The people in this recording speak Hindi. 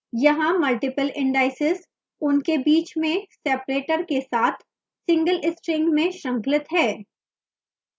यहाँ multiple indices उनके बीच में separator के साथ single string में श्रृंखलित हैं